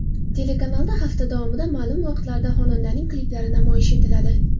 Telekanalda hafta davomida ma’lum vaqtlarda xonandaning kliplari namoyish etiladi.